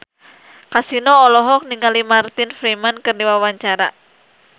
Kasino olohok ningali Martin Freeman keur diwawancara